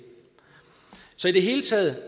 i det hele taget